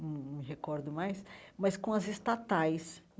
num num me recordo mais, mas com as estatais.